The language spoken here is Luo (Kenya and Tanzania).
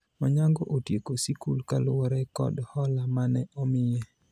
Onyango otieko sikul kaluwore kod hola mane omiye